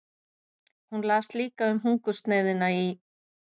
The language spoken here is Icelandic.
Hún las líka um hungursneyðina í